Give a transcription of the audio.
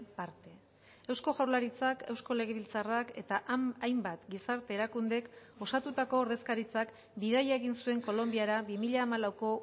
parte eusko jaurlaritzak eusko legebiltzarrak eta hainbat gizarte erakundek osatutako ordezkaritzak bidaia egin zuen kolonbiara bi mila hamalauko